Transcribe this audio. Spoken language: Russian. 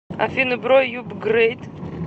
афина бро юпгрэйд